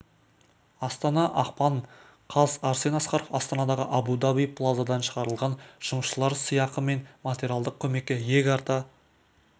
астана ақпан каз арсен асқаров астанадағы абу-даби плазадан шығарылған жұмысшылар сыйақы мен материалдық көмекке иек арта